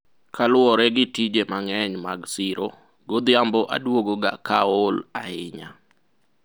kaluwore gi tije mang'eny mag siro, godhiambo adwogo ga ka aol ahinya